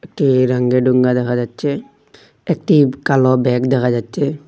একটি রাঙ্গি ডুঙ্গা দেখা যাচ্চে একটি কালো ব্যাগ দেখা যাচ্চে।